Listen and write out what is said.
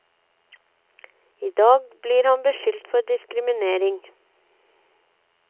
I dag blir han beskyldt for diskriminering.